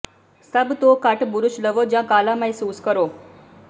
ਸਭ ਤੋਂ ਘੱਟ ਬੁਰਸ਼ ਲਵੋ ਜਾਂ ਕਾਲਾ ਮਹਿਸੂਸ ਕਰੋ